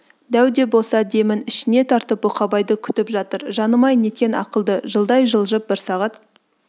дәу де болса демін ішіне тартып бұқабайды күтіп жатыр жаным-ай неткен ақылды жылдай жылжып бір сағат